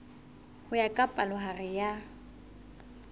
ho ya ka palohare ya